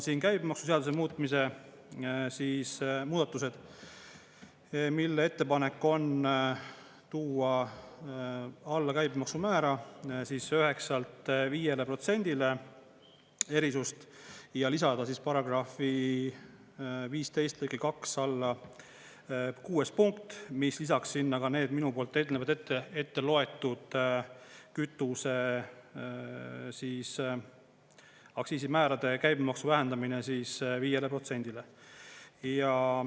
Siin on käibemaksuseaduse muutmise muudatused, mille ettepanek on tuua alla käibemaksumäära 9%-lt 5%-le erisust ja lisada § 15 lõike 2 alla 6. punkt, mis lisaks sinna ka need minu poolt eelnevad ette loetud kütuse aktsiisimäärade käibemaksu vähendamine 5%-le.